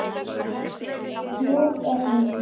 Nú er hún glöð.